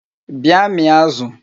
Bịa mịa azụ!